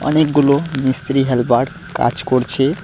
অনেকগুলো মিস্ত্রি হেলপার কাজ করছে।